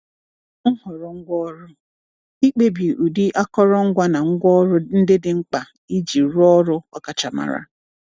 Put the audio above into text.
Nhọrọ Ngwaọrụ — Ịkpebi ụdị akụrụngwa na ngwaọrụ ndị dị mkpa iji rụọ ọrụ ọkachamara.